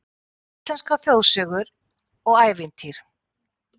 Íslenskar þjóðsögur og ævintýr